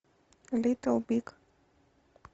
литл биг